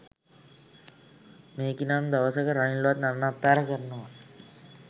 මේකි නම් දවසක රනිල්වත් නන්නත්තාර කරනවා